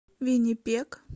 виннипег